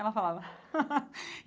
Ela falava.